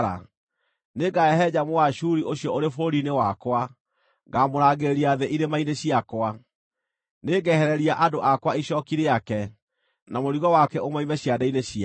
Nĩngahehenja Mũashuri ũcio ũrĩ bũrũri-inĩ wakwa; ngaamũrangĩrĩria thĩ irĩma-inĩ ciakwa. Nĩngehereria andũ akwa icooki rĩake, na mũrigo wake ũmoime ciande-inĩ ciao.”